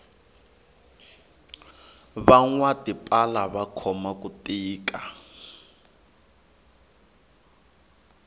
vanwa tipala va khome ku tika